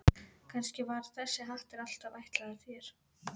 Kannski var þessi hattur alltaf ætlaður þér.